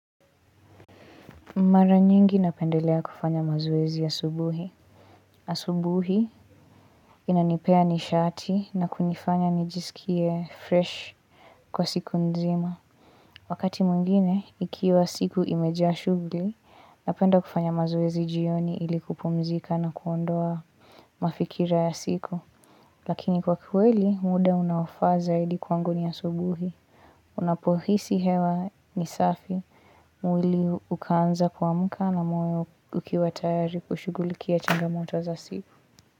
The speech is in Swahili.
Mara nyingi napendelea kufanya mazoezi asubuhi. Asubuhi inanipea nishati na kunifanya nijisikie fresh kwa siku nzima. Wakati mwingine, ikiwa siku imejaa shughuli, napenda kufanya mazoezi jioni ili kupumzika na kuondoa mafikira ya siku. Lakini kwa kweli, muda unaofaa zaidi kwangu ni asubuhi. Unapohisi hewa ni safi mwili ukaanza kuamka na moyo ukiwa tayari kushugulikia changamoto za siku.